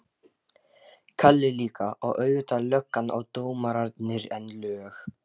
Kalli líka, og auðvitað löggan og dómararnir, en lög